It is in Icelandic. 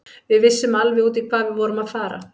Við vissum alveg út í hvað við vorum að fara.